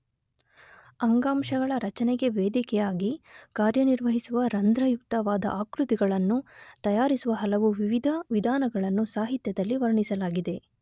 ಅಂಗಾಂಶಗಳ ರಚನೆಗೆ ವೇದಿಕೆಯಾಗಿ ಕಾರ್ಯನಿರ್ವಹಿಸುವ ರಂಧ್ರಯುಕ್ತವಾದ ಆಕೃತಿಗಳನ್ನು ತಯಾರಿಸುವ ಹಲವು ವಿವಿಧ ವಿಧಾನಗಳನ್ನು ಸಾಹಿತ್ಯದಲ್ಲಿ ವರ್ಣಿಸಲಾಗಿದೆ.